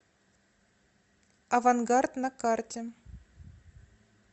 авангард на карте